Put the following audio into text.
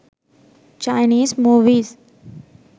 chinese movies